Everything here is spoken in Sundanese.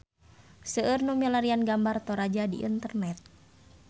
Seueur nu milarian gambar Toraja di internet